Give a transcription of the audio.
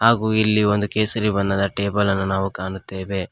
ಹಾಗೂ ಇಲ್ಲಿ ಒಂದು ಕೇಸರಿ ಬಣ್ಣದ ಟೇಬಲ್ ಅನ್ನ ನಾವು ಕಾಣುತ್ತೇವೆ.